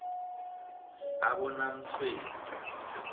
abonamtshweni